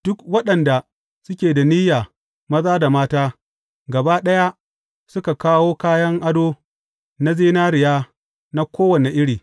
Duk waɗanda suke da niyya, maza da mata, gaba ɗaya, suka kawo kayan ado na zinariya na kowane iri.